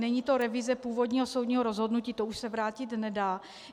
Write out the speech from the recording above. Není to revize původního soudního rozhodnutí, to už se vrátit nedá.